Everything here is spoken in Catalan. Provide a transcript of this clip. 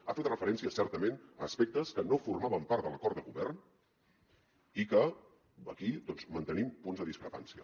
ha fet referència certament a aspectes que no formaven part de l’acord de govern i que aquí doncs mantenim punts de discrepància